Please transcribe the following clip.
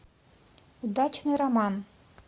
удачный роман